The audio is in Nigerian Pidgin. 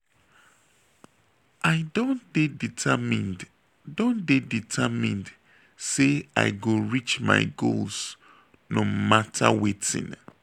i don dey determined don dey determined sey i go reach my goals no mata wetin.